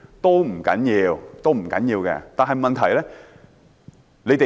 這本來是不要緊的，但問題是其他地